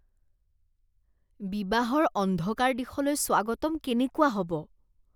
বিবাহৰ অন্ধকাৰ দিশলৈ স্বাগতম কেনেকুৱা হ'ব?